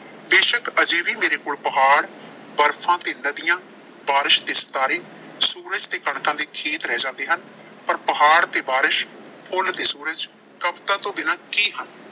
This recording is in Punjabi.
ਬੇਸ਼ੱਕ ਅਜੇ ਵੀ ਮੇਰੇ ਕੋਲ ਪਹਾੜ, ਬਰਫ਼ਾਂ ਤੇ ਨਦੀਆਂ, ਬਾਰਿਸ਼ ਤੇ ਸਿਤਾਰੇ ਸੂਰਜ ਤੇ ਕਣਕਾਂ ਦੇ ਖੇਤ ਰਹਿ ਜਾਂਦੇ ਹਨ। ਪਰ ਪਹਾੜ ਤੇ ਬਾਰਿਸ਼, ਫੁੱਲ ਤੇ ਸੂਰਜ ਕਵਿਤਾ ਤੋਂ ਬਿਨਾਂ ਕੀ ਹਨ।